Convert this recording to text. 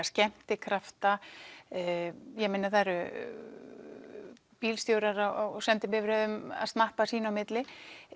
skemmtikrafta það eru bílstjórar á sendibifreiðum að snappa sín á milli